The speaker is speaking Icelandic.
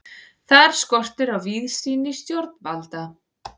Þar skortir á víðsýni stjórnvalda.